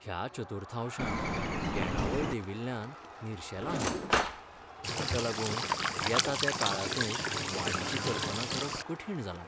ह्या चतुर्थांशांत येणावळ देंविल्ल्यान निरशेंलां हांव, ताका लागून येता त्या काळांतय वाडीची कल्पना करप कठीण जालां.